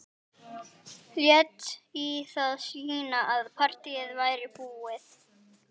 Lét í það skína að partíið væri búið.